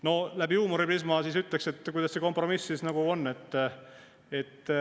No läbi huumoriprisma küsiksin, kuidas see siis kompromiss on.